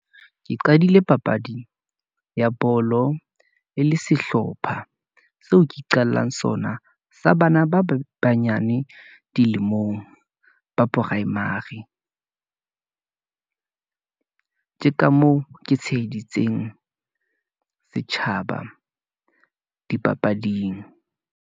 Ke qadile papadi ya bolo, e le sehlopha, seo ke qalang sona sa bana ba banyane dilemong, ba primary ke ka moo ke tsheheditse setjhaba dipapading.